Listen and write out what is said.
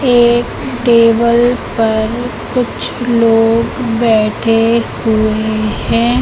एक टेबल पर कुछ लोग बैठे हुए है।